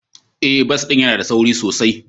Ee, bas ɗin yana da sauri sosai.